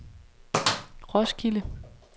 Roskilde